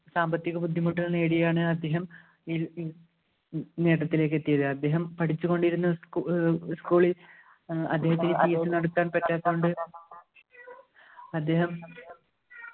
സാമ്പത്തിക ബുദ്ധിമുട്ടുകൾ നേടിയാണ് അദ്ദേഹം ഈ നേട്ടത്തിലേക്ക് എത്തിയത് അദ്ദേഹം പഠിച്ചുകൊണ്ടിരുന്ന ഏർ school ൽ ഏർ അദ്ദേഹത്തിന് നടത്താൻ പറ്റാത്തതുകൊണ്ട് അദ്ദേഹം